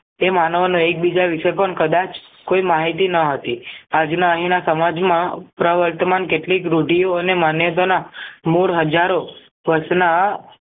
તે માનવ એક બીજા જ વિશે પણ કદાચ કોઈ માહિતી ન હતી આજના અહીંના સમાજમાં પ્રવર્તમાન કેટલીક રૂઢિઓ અને માન્યતાના મૂળ હજારો વર્ષના